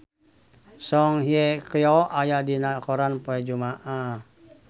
Song Hye Kyo aya dina koran poe Jumaah